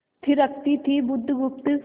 थिरकती थी बुधगुप्त